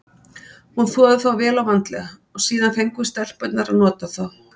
Hún þvoði þá vel og vandlega og síðan fengum við stelpurnar að nota þá.